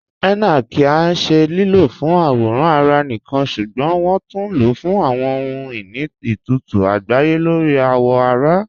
Henna kí í ṣẹ lílọ́ fún àwòràn ará níkan ṣúgbọ́n wọn tún ló fún àwọn ọhun-iní itutu àgbáyé lórí awọ ará.